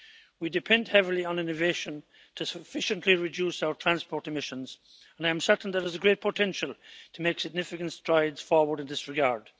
We depend heavily on innovation to sufficiently reduce our transport emissions, and I am certain there is a great potential to make significant strides forward in this regard.